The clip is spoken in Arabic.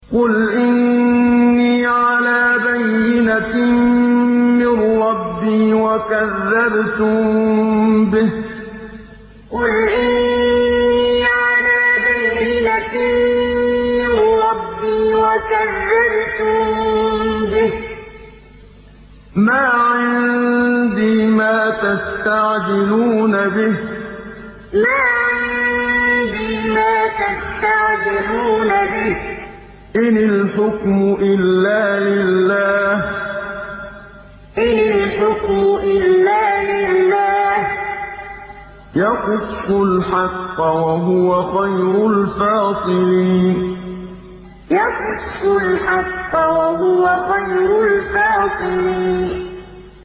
قُلْ إِنِّي عَلَىٰ بَيِّنَةٍ مِّن رَّبِّي وَكَذَّبْتُم بِهِ ۚ مَا عِندِي مَا تَسْتَعْجِلُونَ بِهِ ۚ إِنِ الْحُكْمُ إِلَّا لِلَّهِ ۖ يَقُصُّ الْحَقَّ ۖ وَهُوَ خَيْرُ الْفَاصِلِينَ قُلْ إِنِّي عَلَىٰ بَيِّنَةٍ مِّن رَّبِّي وَكَذَّبْتُم بِهِ ۚ مَا عِندِي مَا تَسْتَعْجِلُونَ بِهِ ۚ إِنِ الْحُكْمُ إِلَّا لِلَّهِ ۖ يَقُصُّ الْحَقَّ ۖ وَهُوَ خَيْرُ الْفَاصِلِينَ